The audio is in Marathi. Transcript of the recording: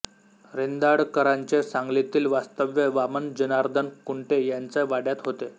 रेंदाळकरांचे सांगलीतील वास्तव्य वामन जनार्दन कुंटे यांच्या वाड्यात होते